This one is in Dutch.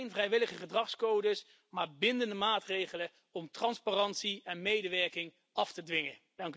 Geen vrijwillige gedragscodes, maar bindende maatregelen om transparantie en medewerking af te dwingen.